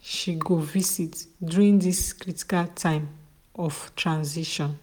she go visit during this critical time of transition.